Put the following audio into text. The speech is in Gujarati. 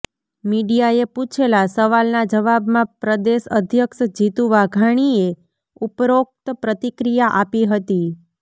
મિડિયાએ પુછેલા સવાલના જવાબમાં પ્રદેશ અધ્યક્ષ જીતુ વાઘાણીએ ઉપરોક્ત પ્રતિક્રિયા આપી હતી